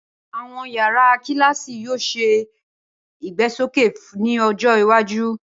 Awọn yárà kilaasi yoo ṣe igbesoke ni ọjọ iwaju.